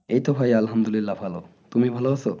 এই তো ভাই আলহামদুলিল্লাহ ভালো তুমি ভালো আছো?